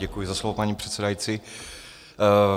Děkuji za slovo, paní předsedající.